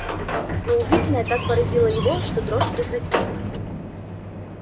но увиденное так поразило его что дрожь прекратилась